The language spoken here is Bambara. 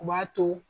U b'a to